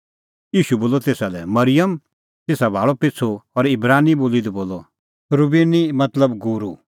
ईशू बोलअ तेसा लै मरिअम तेसा भाल़अ पिछ़ू और इब्रानी बोली दी बोलअ रबूनी मतलब गूरू